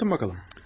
Anlatın bakalım.